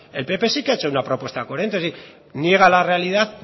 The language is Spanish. el pp sí que ha hecho una propuesta coherente es decir niega la realidad